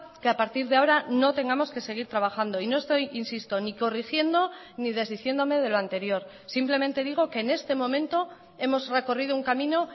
que a partir de ahora no tengamos que seguir trabajando y no estoy insisto ni corrigiendo ni desdiciéndome de lo anterior simplemente digo que en este momento hemos recorrido un camino